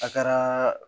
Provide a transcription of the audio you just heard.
A kɛra